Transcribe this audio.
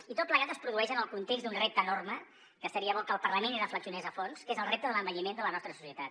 i tot plegat es produeix en el context d’un repte enorme que seria bo que el parlament hi reflexionés a fons que és el repte de l’envelliment de la nostra societat